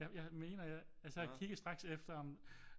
Jeg mener jeg altså jeg kiggede straks efter om